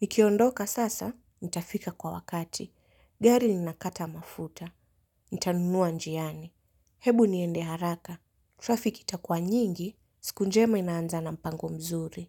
Nikiondoka sasa, nitafika kwa wakati. Gari linakata mafuta. Nitanunua njiani. Hebu niende haraka. Traffic itakuwa nyingi. Siku njema inaanza na mpango mzuri.